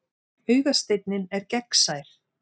Augasteinninn er gegnsær.